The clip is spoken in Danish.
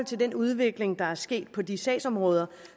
til den udvikling der er sket på de sagsområder